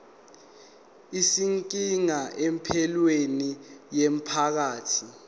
izinkinga empilweni yomphakathi